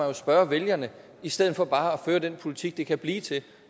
jo spørge vælgerne i stedet for bare at føre den politik det kan blive til